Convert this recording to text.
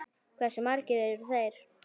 Hversu margir eru þeir?